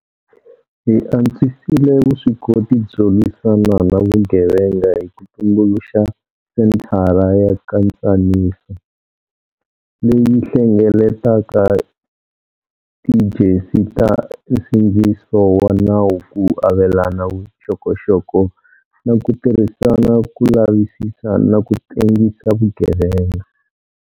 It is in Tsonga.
Hi antswisile vuswikoti byo lwisana na vugevenga hi ku tumbuluxa Senthara ya Nkatsaniso, leyi hlengeletaka tiejensi ta nsindziso wa nawu ku avelana vuxokoxoko na ku tirhisana ku lavisisa na ku tengisa vugevenga.